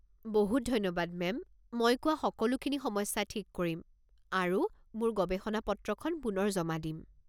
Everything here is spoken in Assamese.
বহুত বহুত ধন্যবাদ মেম, মই কোৱা সকলোখিনি সমস্যা ঠিক কৰিম আৰু মোৰ গৱেষণা-পত্ৰখন পুনৰ জমা দিম।